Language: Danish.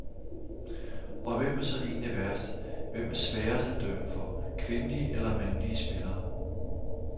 Og hvem er så egentlig værst, hvem er sværest at dømme for, kvindelige eller mandlige spillere.